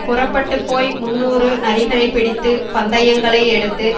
புறப்பட்டு போய் முந்நூறு நரிகளைப் பிடித்து பந்தயங்களை எடுத்து